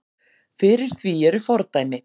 Fyrir því eru fordæmi.